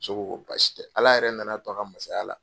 Muso ko ko basi tɛ Ala yɛrɛ nana a to a ka masaya la